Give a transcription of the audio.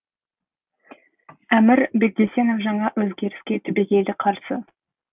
әмір бегдесенов жаңа өзгеріске түбегейлі қарсы